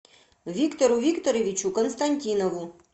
виктору викторовичу константинову